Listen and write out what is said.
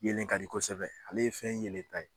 Yelen ka di kosɛbɛ ale ye fɛn yelen ta ye.